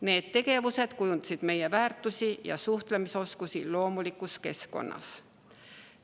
Need tegevused kujundasid nende väärtusi ja suhtlemisoskusi loomulikus keskkonnas.